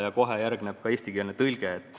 Ja kohe järgneb ka eestikeelne tõlge.